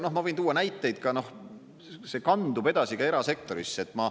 Noh, ma võin tuua näiteid ka, noh, see kandub edasi ka erasektorisse.